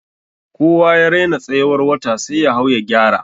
Kowa ya raina tsayiwar wata sai ya hau ya gyara.